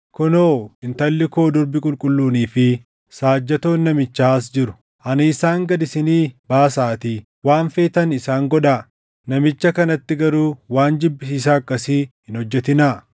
Kunoo intalli koo durbi qulqulluunii fi saajjatoon namichaa as jiru. Ani isaan gad isinii baasaatii waan feetan isaan godhaa. Namicha kanatti garuu waan jibbisiisaa akkasii hin hojjetinaa.”